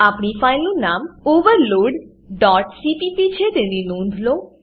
આપણી ફાઈલનું નામ overloadસીપીપી છે તેની નોંધ લો